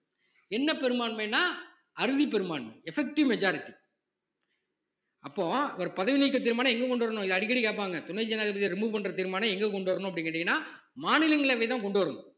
என்ன பெரும்பான்மைன்னா அறுதிப் பெரும்பான்மை effective majority அப்போ அவர் பதவி நீக்கத் தீர்மானம் எங்க கொண்டு வரணும் இதை அடிக்கடி கேட்பாங்க துணை ஜனாதிபதி remove பண்ற தீர்மானம் எங்க கொண்டு வரணும் அப்படின்னு கேட்டீங்கன்னா மாநிலங்களவைதான் கொண்டு வரணும்